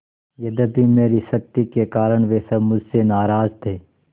यद्यपि मेरी सख्ती के कारण वे सब मुझसे नाराज थे